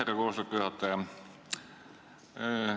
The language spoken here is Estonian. Aitäh, härra istungi juhataja!